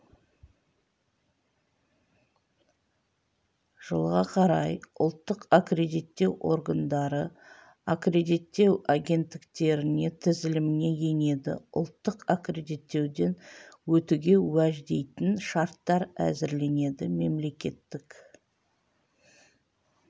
жылға қарай ұлттық аккредиттеу органдары аккредиттеу агенттіктерінің тізіліміне енеді ұлттық аккредиттеуден өтуге уәждейтін шарттар әзірленеді мемлекеттік